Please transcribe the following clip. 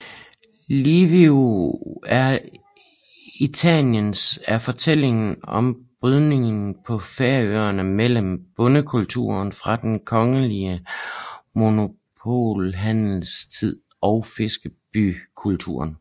Lívið er eittans er fortællinger om brydningen på Færøerne mellem bondekulturen fra den kongelige monopolhandels tid og fiskerbykulturen